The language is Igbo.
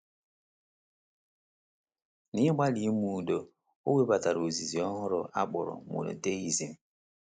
N’ịgbalị ime udo, o webatara ozizi ọhụrụ a kpọrọ Monotheism.